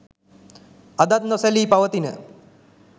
අදත් නොසැලී පවතින